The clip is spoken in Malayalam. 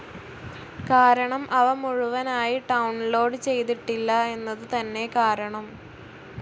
കാരണം അവ മുഴുവനായി ഡൌൺ ലോഡ്‌ ചെയ്തിട്ടില്ല എന്നതു തന്നെ കാരണം.